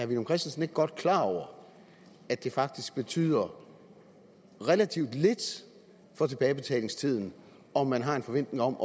villum christensen ikke godt klar over at det faktisk betyder relativt lidt for tilbagebetalingstiden om man har en forventning om